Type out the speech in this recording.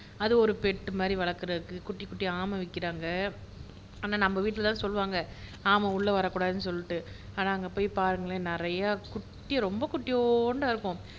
அது ஒரு பெட் மாதிரி வளர்க்கிறதுக்கு குட்டிகுட்டி ஆமை விக்கிறாங்க ஆனா நம்ம வீட்ல எல்லாம் சொல்லுவாங்க ஆமை உள்ள வரக்கூடாதுன்னு சொல்லிட்டு ஆனா அங்க போய் பாருங்களேன் நிறைய குட்டி ரொம்ப குட்டியோண்டா இருக்கும்